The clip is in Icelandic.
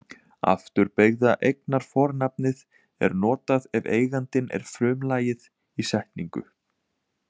Afturbeygða eignarfornafnið er notað ef eigandinn er frumlagið í setningu.